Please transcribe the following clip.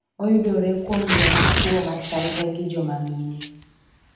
Oyudore kuom joma chuo machalre gi joma mine